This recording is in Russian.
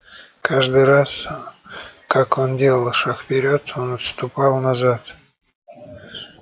каждый раз как он делал шаг вперёд он отступал назад